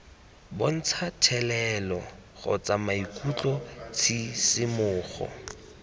bontsha thelelo kgotsa maikutlo tshisimogo